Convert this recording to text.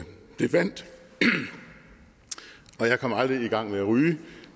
vandt og jeg kom aldrig i gang med at ryge